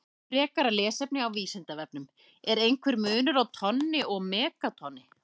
Frekara lesefni á Vísindavefnum: Er einhver munur á tonni og megatonni?